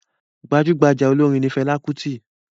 Gbajugbaja olorin ni Fẹla Kuti.